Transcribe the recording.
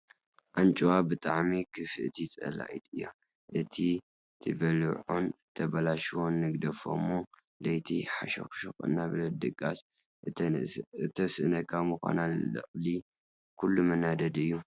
ኣንጭዋ ብጣዕሚ ክፍእቲ ፀላኢት እያ፡፡ እቲ ትበልዖን ተበላሽዎን ንግደፎ እሞ ለይቲ ሓሾክሾክ እናበለት ድቃስ ተስእነካ ምዃና ልዕሊ ኩሉ መናደዲ እዩ፡፡